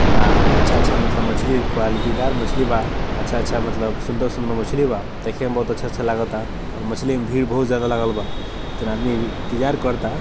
आ अच्छा-अच्छा मतलब मछली क्वालिटी दार मछ्ली बा अच्छा-अच्छा मतलब सुंदर-सुंदर मछली बा देखे में बहुत अच्छा-अच्छा लागता और मछली में भीड़ बहुत ज्यादा लागल बा तीन आदमी इंतजार करता।